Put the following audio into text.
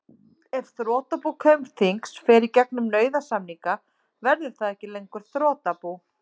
Ef þrotabú Kaupþings fer í gegnum nauðasamninga verður það ekki lengur þrotabú.